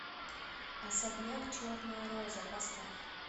особняк черная роза поставь